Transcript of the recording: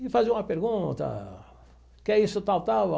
E fazia uma pergunta, que isso tal, tal?